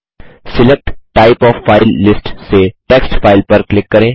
select type of file list से text file पर click करें